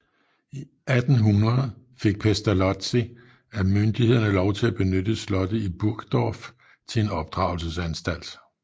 I 1800 fik Pestalozzi af myndighederne lov til at benytte slottet i Burgdorf til en opdragelsesanstalt